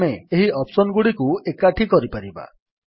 ଆମେ ଏହି ଅପ୍ସନ୍ ଗୁଡ଼ିକୁ ଏକାଠି କରିପାରିବା